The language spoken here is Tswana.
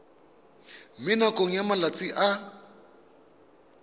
mo nakong ya malatsi a